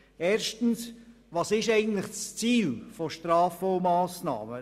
Erstens, was ist eigentlich das Ziel von Strafen und Massnahmen?